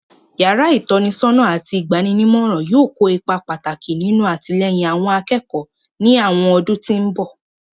Yàrá ìtọ́nisọ́nà àti ìgba'ninímọ̀ràn yóò kó ipa pàtàkì nínú àtìlẹ́yìn àwọn akẹ́kọ̀ọ́ ní àwọn ọdún tí mbọ̀